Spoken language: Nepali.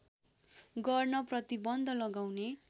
गर्न प्रतिबन्ध लगाउने